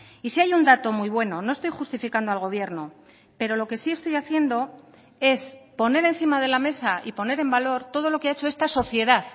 y si hay un dato muy bueno no estoy justificando al gobierno pero lo que sí estoy haciendo es poner encima de la mesa y poner en valor todo lo que ha hecho esta sociedad